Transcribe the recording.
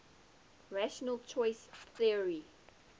rational choice theory